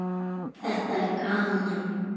Þetta er gaman.